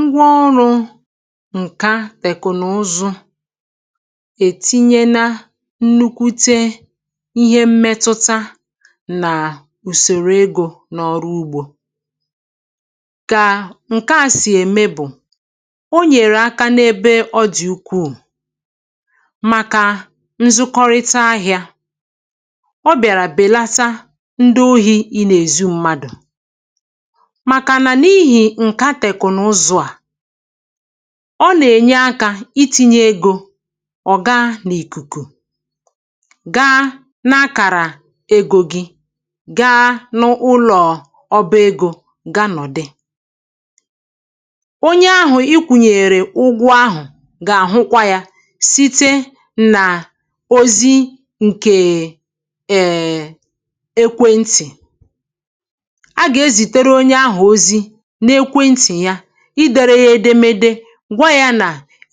Ngwà ọrụ̇ ǹkè à tèkùnùzụ̀ ètìnyè nà nnụ̀kwùte ihe mmetùtà nà ùsòrò egȯ n’ọrụ ugbȯ, kà ǹkè à sì èmē bụ̀, ọ nyèrè àkà n’ebe dị̀ ukwù, màkà nzụkọrịta ahịȧ. Ọ bịàrà bèlàtà ndị ohi̇, um ị nà èzi mmadụ̀, ọ nà-ènye àkà iti̇nyė egȯ. Ọ̀ gà nà ìkùkù gà n’akàrà egȯ gị̇, gà n’ụlọ̀ ọbọ egȯ, gà nọ̀ dị onye ahụ̀ ikwùnyèrè ụgwọ̇ ahụ̀, gà-àhụkwa yà site nà ozi ǹkè èèè ekwentì̀ — ìdèrè yà edemede, gwa yà nà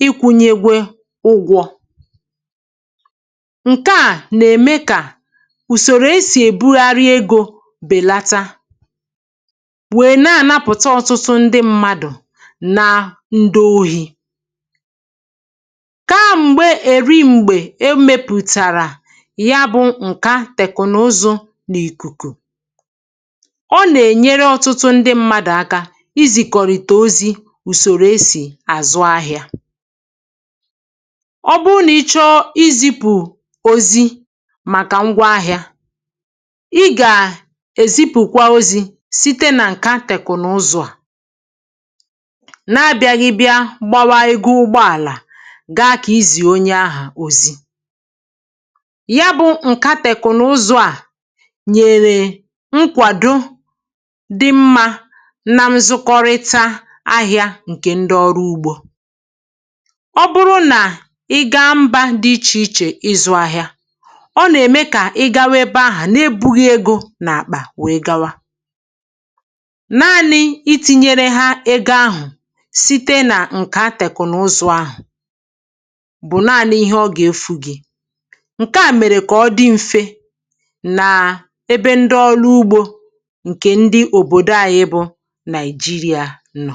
ikwunyegwe ụgwọ̇ ǹkè à. Ǹkè à nà-ème kà ùsòrò e sì èbugharị egȯ bèlàtà, wèe na-ànapụ̀ta ọ̀tụtụ ndị mmadụ̀ nà ndị ohi̇. Ka m̀gbè èrị m̀gbè emepùtàrà ya bụ̇ ǹkà tèkùnùzụ̀ n’ìkùkù, ọ nà-ènyere ọ̀tụtụ ndị mmadụ̀ àkà n’ùsòrò esì àzụ ahịȧ. Ọ bụrụ nà ị chọọ ị zipù òzì màkà ngwa ahịȧ, um ị gà-èzipùkwa òzi̇ site nà ǹkà tèkụ̀ n’ụzọ̇ à na-abịaghị bịa gbàwà egȯ. Ụgbọ̀àlà gà-àga kà izì onye ahà òzi. Yà bụ̇ ǹkà tèkụ̀ n’ụzọ̇ à nyèrè nkwàdo dị mmȧ ahịa ǹkè ndị ọrụ ugbȯ. Ọ bụrụ nà ị gàá mbà dị ichè ichè ịzụ̇ ahịa, ọ nà-ème kà ị gàá webė ahụ̀ na-ebughị̇ egȯ n’àkpà, wee gawa nanị̇ iti̇nyere hȧ egȯ ahụ̀ site nà ǹkà atèkù n’ụzụ̇ ahụ̀. Bụ̀ nanị̇ ihe ọ gà-efu gị̇, um ǹkè à mèrè kà ọ dị m̀fe nà ebe ndị ọrụ ugbȯ ǹkè ndị òbòdo ànyị bụ̇ Àna.